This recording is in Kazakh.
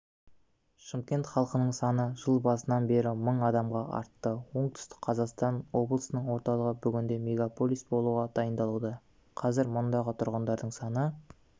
шымкент халқының саны жыл басынан бері мың адамға артты оңтүстік қазақстан облысының орталығы бүгінде мегаполис болуға дайындалуда қазір мұндағы тұрғындардың саны